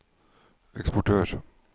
eksportør